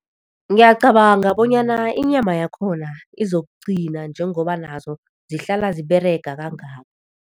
Ngiyacabanga bonyana inyama yakhona izokuqina njengoba nazo zihlala ziberega kangaka.